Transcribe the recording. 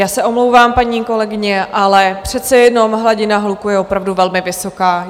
Já se omlouvám, paní kolegyně, ale přece jenom hladina hluku je opravdu velmi vysoká.